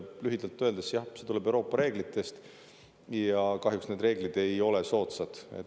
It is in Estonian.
Lühidalt öeldes – jah, see tuleb Euroopa reeglitest ja kahjuks need reeglid ei ole soodsad.